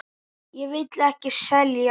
Ég vil ekki selja.